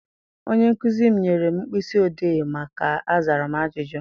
Onye nkụzi m nyere mkpịsị odee maka azara m ajụjụ.